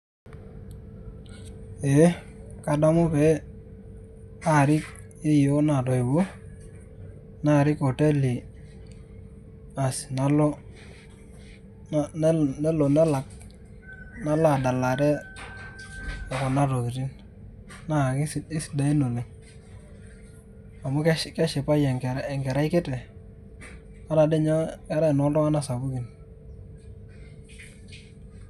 Ee kadamu pe arik yieyioo natoiwuo, narik oteli, bas nelo nelak nalo adalare kuna tokiting'. Naa kesidain oleng'. Amu keshipayu enkerai kiti, ketae doi nye enoo tulng'anak sapukin.